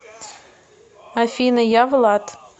афина я влад